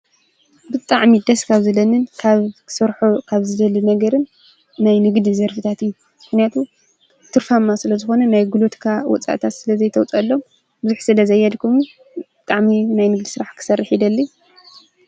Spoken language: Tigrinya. ብጣዕሚ ደስ ካብ ዝብልንን ካብ ክሰርሖ ካብ ዝደልን ነገርን ናይ ንግዲ ዘርፍታት እዩ፤ ምኽንያትቱ ትርፋማ ስለ ዝኾነ ናይ ጉልበትካ ወጻእታት ስለዘይተዉፅኣሉ ብዙሕ ስለ ዘየድክሙ ብጣዕሚ ናይ ንግዲ ስራሕ ክሰርሕ ይደሊ ።